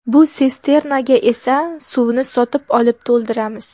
Bu sisternaga esa suvni sotib olib to‘ldiramiz.